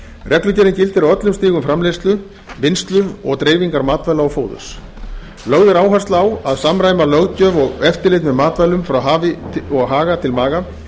reglugerðin gildir á öllum stigum framleiðslu vinnslu og dreifingar matvæla og fóðurs lögð er áhersla á að samræma löggjöf og eftirlit með matvælum frá hafi og haga til maga